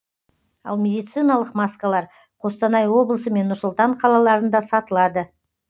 ал медициналық маскалар қостанай облысы мен нұр сұлтан қалаларында сатылады